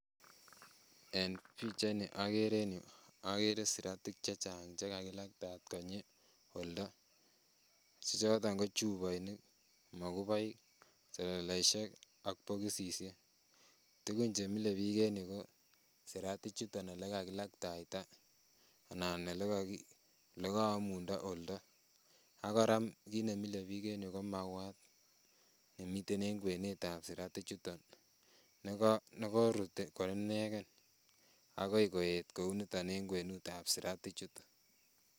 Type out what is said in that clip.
En pichaini okere en yuu okere siratik chechang chekakilakta konyii oldo, choton ko chuboinik , mokuboik, seleleishek ak bokisishek, tukun chemile biik en yuu ko siratichuton olekakilaktaita anan olekoomundo oldo ak kora kiit nemilebik en yuu ko mauwat nemiten en kwenetab siratichuton, nekorut ko ineken akoi koet kouniton en kwenutab siratichuton.